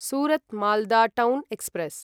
Surat Malda town express